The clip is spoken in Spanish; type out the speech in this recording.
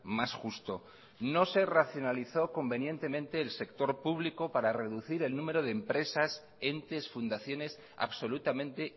más justo no se racionalizó convenientemente el sector público para reducir el número de empresas entes fundaciones absolutamente